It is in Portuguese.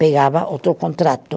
pegava outro contrato.